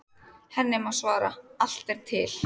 Henni má svara: Allt er til.